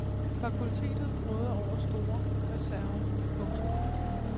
Fakultetet råder over store reserver. punktum